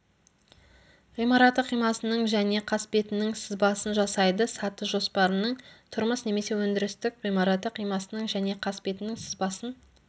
ғимараты қимасының және қасбетінің сызбасын жасайды саты жоспарының тұрмыс немесе өндірістік ғимараты қимасының және қасбетінің сызбасын